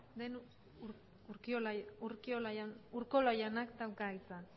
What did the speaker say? den urkola jaunak dauka hitza